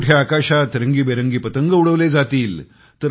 कुठे आकाशात रंगी बेरंगी पतंग उडवले जातील